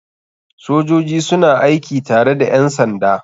Sojoji suna aiki tare da ƴansanda